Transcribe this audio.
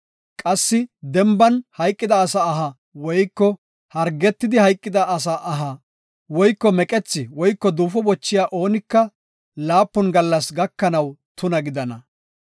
Qassi denban hayqida asa aha woyko hargetidi hayqida asa aha woyko meqethi woyko duufo bochiya oonika laapun gallas gakanaw tuna gidana.